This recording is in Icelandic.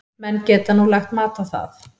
Menn geta nú lagt mat á það.